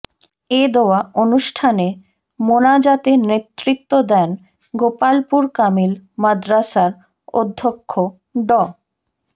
এ দোয়া অনুষ্ঠানে মোনাজাতে নেতৃত্ব দেন গোপালপুর কামিল মাদ্রাসার অধ্যক্ষ ড